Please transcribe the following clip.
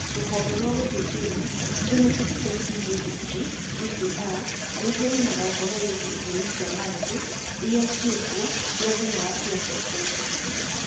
rũhonge rwa gũthuthuria Genetics Testing Registry (GTR) rũheanaga ũhoro wĩgiĩ ithimi cia maũthĩ irĩa ciĩkuo cia thĩna wa Pierson syndrome.